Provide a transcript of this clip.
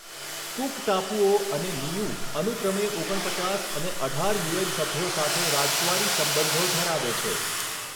Cook ટાપુઓ અને Niue અનુક્રમે ઓગણ પચાસ અને અઢાર યુએન સભ્યો સાથે રાજદ્વારી સંબંધો ધરાવે છે.